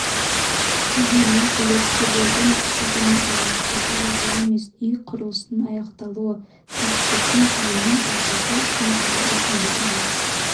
дегенмен үлескерлердің діттегені алаяқтарды жазалау емес үй құрылысының аяқталуы түйткілдің түйінін тарқату үшін қала әкімдігі мен